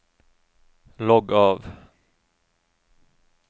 logg av